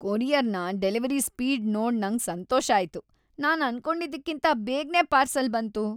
ಕೊರಿಯರ್ನ delivery speed ನೋಡ್ ನಂಗ್ ಸಂತೋಷ ಆಯ್ತು. ನಾನ್ ಅನ್ಕೊಂಡಿದ್ಕಿಂತ ಬೇಗನೆ ಪಾರ್ಸಲ್ ಬಂತು !